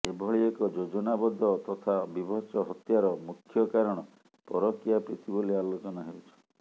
ଏଭଳି ଏକ ଯୋଜନାବଦ୍ଧ ତଥା ବିଭତ୍ସ ହତ୍ୟାର ମୁଖ୍ୟ କାରଣ ପରକିୟା ପ୍ରୀତି ବୋଲି ଆଲୋଚନା ହେଉଛି